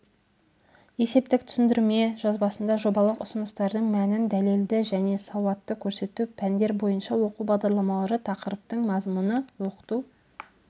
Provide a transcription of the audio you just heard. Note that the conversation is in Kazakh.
есептік түсіндірме жазбасында жобалық ұсыныстардың мәнін дәлелді және сауатты көрсету пәндер бойынша оқу бағдарламалары тақырыптың мазмұны оқыту